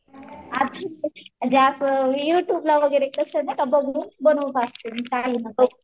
म्हणजे असं युट्युबला वगैरे कसं नाहीका बघुन बनवत असते.